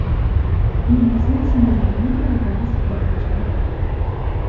Men o‘zim shundaylarning biri bilan suhbatlashdim.